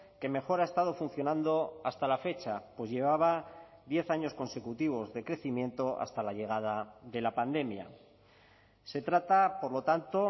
que mejor ha estado funcionando hasta la fecha pues llevaba diez años consecutivos de crecimiento hasta la llegada de la pandemia se trata por lo tanto